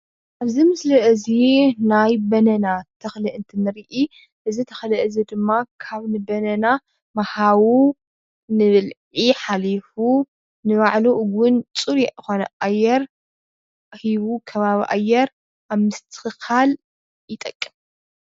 እዚ ምስሊ እዚ ናይ ባናና ተኽሊ እንትንርኢ እዚ ተኽሊ እዚ ድማ ካብ ባናና ንሓው ንብልዒ ሓሊፍ ንባዕሉ እውን ፅሩይ ንባዕሉ ፅሩይ ሂቡ ከባቢ ኣየር ንምስትኽኻል ይጠቅም፡፡